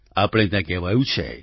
આપણે ત્યાં કહેવાયું છે